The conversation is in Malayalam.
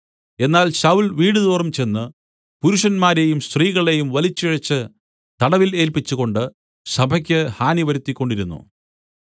എന്നാൽ ശൌല്‍ വീടുതോറും ചെന്ന് പുരുഷന്മാരെയും സ്ത്രീകളെയും വലിച്ചിഴച്ചു തടവിൽ ഏല്പിച്ചുകൊണ്ട് സഭയ്ക്ക് ഹാനി വരുത്തിക്കൊണ്ടിരുന്നു